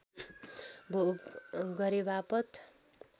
भोग गरेवापत